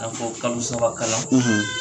k'a fɔ kalosabakalan